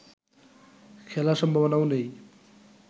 খেলার সম্ভাবনাও নেই